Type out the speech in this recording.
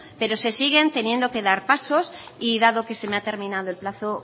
pero se siguen teniendo que dar pasos y dado que se me ha terminado el plazo